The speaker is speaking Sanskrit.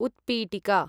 उत्पीटिका